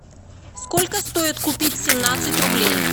сколько стоит купить семнадцать рублей